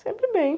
Sempre bem.